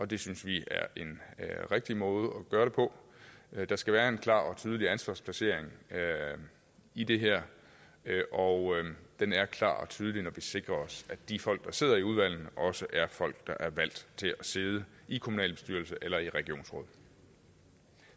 det synes vi er en rigtig måde at gøre det på der skal være en klar og tydelig ansvarsplacering i det her og den er klar og tydelig når vi sikrer os de folk der sidder i udvalgene også er folk der er valgt til at sidde i kommunalbestyrelse eller i regionsråd